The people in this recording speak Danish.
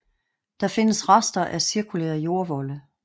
Der findes rester af cirkulære jordvolde